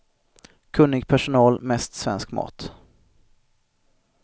Kunnig personal, mest svensk mat.